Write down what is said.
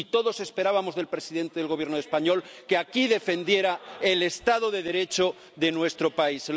Todos esperábamos del presidente del Gobierno español que aquí defendiera el Estado de Derecho de nuestro país.